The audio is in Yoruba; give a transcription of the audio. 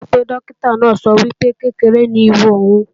Bólú sọ pé Dókítà náà sọ wípé, kékeré ni ìwú òun